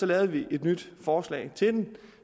lavede vi et nyt forslag til det